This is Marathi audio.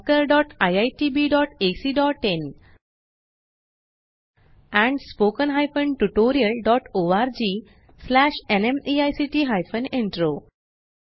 oscariitbacइन एंड spoken tutorialorgnmeict इंट्रो